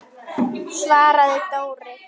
svaraði Dóri.